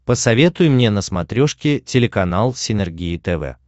посоветуй мне на смотрешке телеканал синергия тв